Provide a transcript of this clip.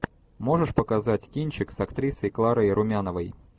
можешь показать кинчик с актрисой кларой румяновой